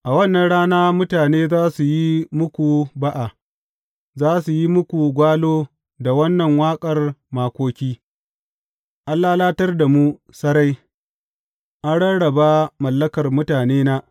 A wannan rana mutane za su yi muku ba’a za su yi muku gwalo da wannan waƙar makoki, An lalatar da mu sarai; an rarraba mallakar mutanena.